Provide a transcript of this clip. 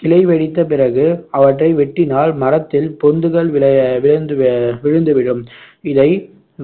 கிளைவெடித்த பிறகு அவற்றை வெட்டினால் மரத்தில் பொந்துகள் விழ விழுந்து அஹ் விழுந்துவிடும் இதை